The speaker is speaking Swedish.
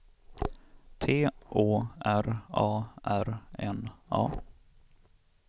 T Å R A R N A